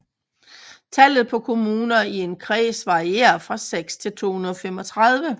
Tallet på kommuner i en kreds varierer fra 6 til 235